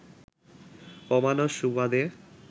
কমানোর সুবাদে